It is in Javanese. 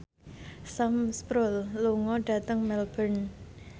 Sam Spruell lunga dhateng Melbourne